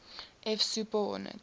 f super hornet